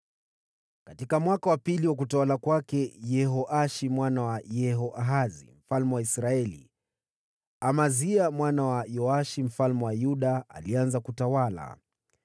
Katika mwaka wa pili wa utawala wa Yehoashi mwana wa Yehoahazi mfalme wa Israeli, Amazia mwana wa Yoashi mfalme wa Yuda alianza kutawala.